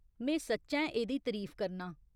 में सच्चैं एह्दी तरीफ करनां।